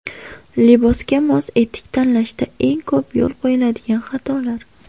Libosga mos etik tanlashda eng ko‘p yo‘l qo‘yiladigan xatolar .